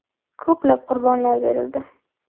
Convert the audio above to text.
Ko‘plab qurbonlar berildi.